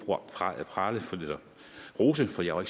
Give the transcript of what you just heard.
rose for jeg var